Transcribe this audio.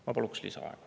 Ma paluksin lisaaega.